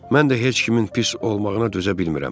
Mən də heç kimin pis olmağına düzə bilmirəm.